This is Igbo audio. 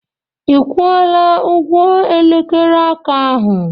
Ị kwụọla ụgwọ elekere aka aha?